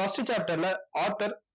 first chapter ல author